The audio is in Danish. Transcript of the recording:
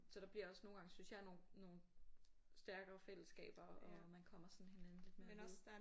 Så der bliver også nogle gange synes jeg nogen nogen stærkere fællesskaber og man kommer sådan hinanden lidt mere ved